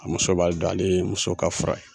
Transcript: A muso b'a don ale ye muso ka fura ye.